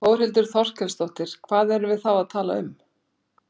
Þórhildur Þorkelsdóttir: Hvað erum við þá að tala um?